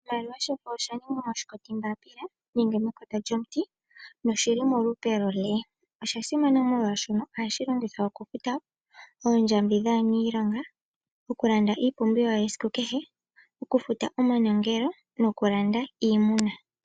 Oshimaliwa shefo oshaningwa moshikoti mbaapila nenge mekota lyomuti noshili molupe lwoo L. Osha simana molwaashono ohashi longithwa oku futa oondjambi dhaaniilonga, oku landa iipumbiwa yesiku kehe, oku futa omanongelo noku landa iimuna.